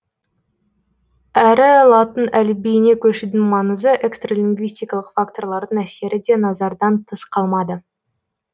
әрі латын әліпбиіне көшудің маңызы экстралингвистикалық факторлардың әсері де назардан тыс қалмады